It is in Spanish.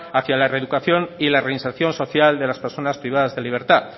hacia la reeducación y la reinserción social de las personas privadas de libertad